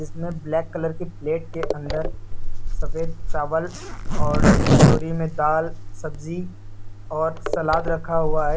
मैं black colour की plate के अंदर सफेद चावल और कटोरी में दाल सब्जी और सलाद रखा हुआ है।